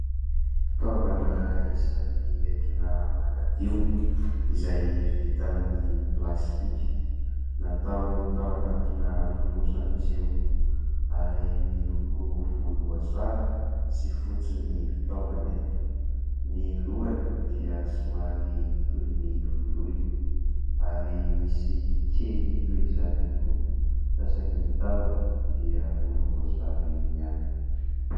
Fitaovana isan'ny entina manadio, izay vita amin'ny plastika, natao tao anatina fonosana izy io ary miloko volomboasary sy fotsy ny fitaovana eto ; ny lohany dia somary toy ny voloina ary misy kely toy izany ihany koa fa saingy ny tahony dia volomboasary ihany.